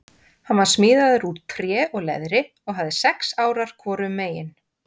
Hann var smíðaður úr tré og leðri og hafði sex árar hvorum megin.